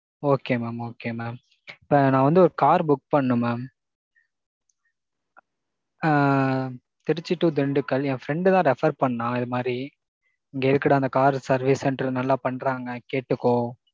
Okay mam. okay mam. நான் வந்து ஒரு car book பண்ணனும் mam. ஆ திருச்சி to திண்டுக்கல். என் friend தான் refer பண்ணான் இது மாறி. இங்க இருக்குற அந்த car service center நல்லா பன்றாங்க கேட்டுக்கோ.